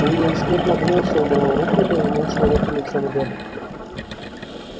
уидон скотт нагнулся убрал руку и повернул человека лицом вверх